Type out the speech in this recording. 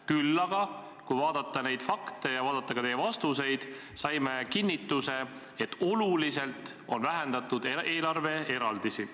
Küll aga – kui vaadata fakte ja vaadata ka teie vastuseid – saime kinnituse, et oluliselt on vähendatud eelarveeraldisi.